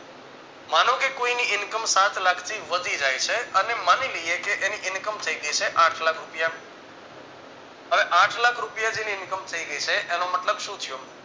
મને કે કોઈની income સાતલાખથી વઘી જાય છે અને માની લઈએ કે એની income થઈ ગયા છે આઠ લાખ રૂપિયા હવે આઠલાખ રૂપિયા જેટલી income થઈ ગઈ છે એનો મતલબ શું થ્યો